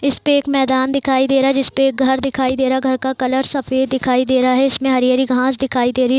इसपे एक मैदान दिखाई दे रहा है जिसपे एक घर दिखाई दे रहा है घर का कलर सफेद दिखाई दे रहा है इसमें हरी-हरी घास दिखाई दे रही हैं।